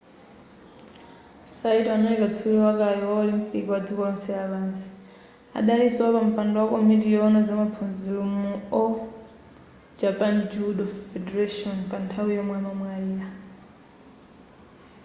saito adali katswiri wakale wa olimpiki ndi wadziko lonse lapansi adalinso wapampando wa komiti yowona zamaphunziro mu all japan judo federation pa nthawi yomwe amamwalira